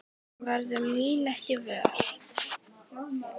Hún verður mín ekki vör.